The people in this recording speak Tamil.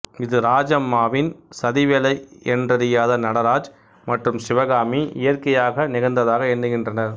இது ராஜம்மாவின் சதிவேலை என்றறியாத நடராஜ் மற்றும் சிவகாமி இயற்கையாக நிகழ்ந்ததாக எண்ணுகின்றனர்